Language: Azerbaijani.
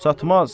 Çatmaz.